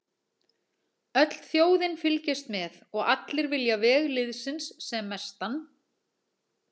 Öll þjóðin fylgist með og allir vilja veg liðsins sem mestan.